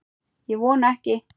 Ég vona ekki